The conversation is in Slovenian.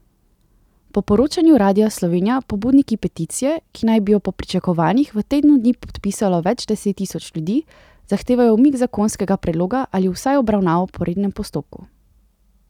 Po poročanju Radia Slovenija pobudniki peticije, ki naj bi jo po pričakovanjih v tednu dni podpisalo več deset tisoč ljudi, zahtevajo umik zakonskega predloga ali vsaj obravnavo po rednem postopku.